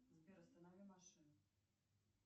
сбер останови машину